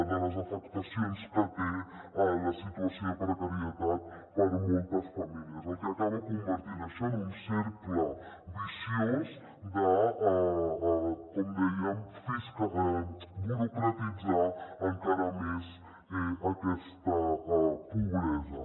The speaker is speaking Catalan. de les afectacions que té la situació de precarietat per a moltes famílies cosa que acaba convertint això en un cercle viciós de com dèiem burocratitzar encara més aquesta pobresa